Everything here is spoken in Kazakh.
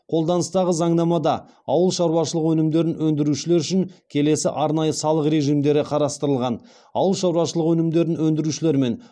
қолданыстағы заңнамада ауыл шаруашылығы өнімдерін өндірушілер үшін келесі арнайы салық режимдері қарастырылған ауыл шаруашылығы өнімдерін өндірушілер мен